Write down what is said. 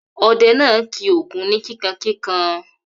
Ọdẹ náà kì Ògún ni kíkankíkan.